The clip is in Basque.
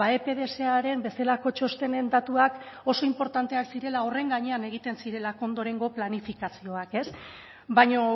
epdsaren bezalako txostenen datuak oso inportanteak zirela horren gainean egiten zirelako ondorengo planifikazioak baina